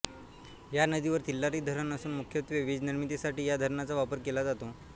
या नदीवर तिल्लारी धरण असून मुख्यत्वे वीजनिर्मितीसाठी या धरणाचा वापर केला जातो